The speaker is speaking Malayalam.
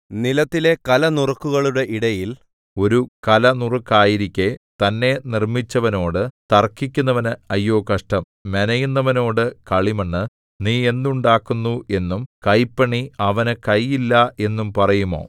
നിലത്തിലെ കലനുറുക്കുകളുടെ ഇടയിൽ ഒരു കലനുറുക്കായിരിക്കെ തന്നെ നിർമ്മിച്ചവനോടു തർക്കിക്കുന്നവന് അയ്യോ കഷ്ടം മെനയുന്നവനോടു കളിമണ്ണ് നീ എന്തുണ്ടാക്കുന്നു എന്നും കൈപ്പണി അവനു കൈ ഇല്ല എന്നും പറയുമോ